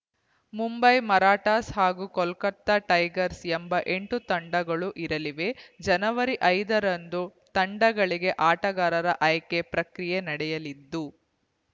ಮುಂಬೈ ಮರಾಠಾಸ್‌ ಹಾಗೂ ಕೋಲ್ಕತಾ ಟೈಗರ್ಸ್ ಎಂಬ ಎಂಟು ತಂಡಗಳು ಇರಲಿವೆ ಜನವರಿ ಐದರಂದು ತಂಡಗಳಿಗೆ ಆಟಗಾರರ ಆಯ್ಕೆ ಪ್ರಕ್ರಿಯೆ ನಡೆಯಲಿದ್ದು